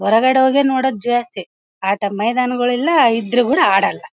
ಹೊರಗಡೆ ಹೋದ್ರೆ ನೋಡೋದ ಜಾಸ್ತಿ ಆಟ ಮೈದಾನಗಳು ಇಲ್ಲಾ ಇದ್ರು ಕೂಡ ಆಡಲ್ಲಾ.